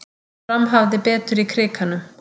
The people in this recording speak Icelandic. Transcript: Fram hafði betur í Krikanum